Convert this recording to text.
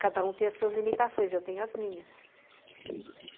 Cada um tem as suas limitações, eu tenho as minhas.